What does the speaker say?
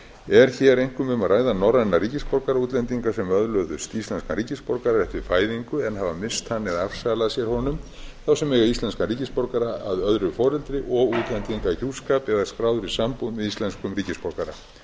er hér einkum um að ræða norræna ríkisborgara útlendinga sem öðluðust íslenskan ríkisborgararétt við fæðingu en hafa misst hann eða afsalað sér honum þá sem eiga íslenskan ríkisborgara að öðru foreldri og útlendingahjúskap eða skráður í sambúð með íslenskum ríkisborgara